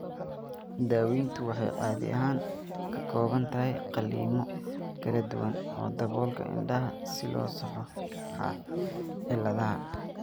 Daaweyntu waxay caadi ahaan ka kooban tahay qalliinno kala duwan oo daboolka indhaha si loo saxo cilladaha.